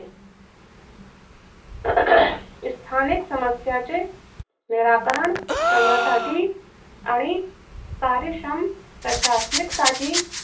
स्थानिक समस्यांचे निराकरण करण्यासाठी आणि कार्यश्रम प्रशासणिक साठी